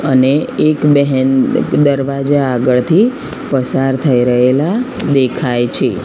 અને એક બેહેન દરવાજા આગળથી પસાર થઈ રહેલા દેખાય છે.